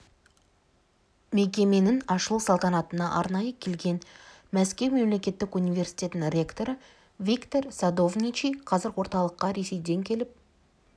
мекеменің ашылу салтанатына арнайы келген мәскеу мемлекеттік университетінің ректоры виктор садовничий қазір орталыққа ресейден келіп